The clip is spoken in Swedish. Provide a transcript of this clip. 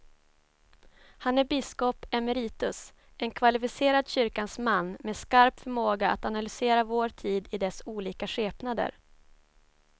Han är biskop emeritus, en kvalificerad kyrkans man med skarp förmåga att analysera vår tid i dess olika skepnader.